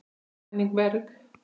Hvernig er Henning Berg?